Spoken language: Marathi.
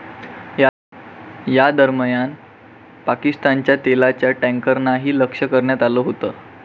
या दरम्यान पाकिस्तानच्या तेलाच्या टॅन्करनाही लक्ष करण्यात आलं होतं.